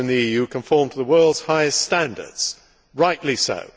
Farmers in the EU conform to the world's highest standards, and rightly so.